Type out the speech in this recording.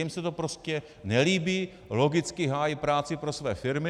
Jim se to prostě nelíbí, logicky hájí práci pro své firmy.